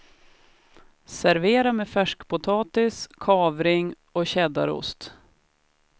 Servera med färskpotatis, kavring och cheddarost.